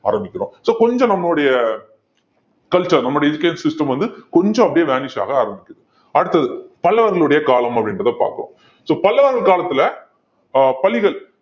ஆரம்பிக்கிறோம் so கொஞ்சம் நம்மளுடைய culture நம்முடைய education system வந்து கொஞ்சம் அப்படியே vanish ஆக ஆரம்பிக்குது அடுத்தது பல்லவர்களுடைய காலம் அப்படின்றதை பார்ப்போம் so பல்லவர்கள் காலத்துல ஆஹ் பள்ளிகள்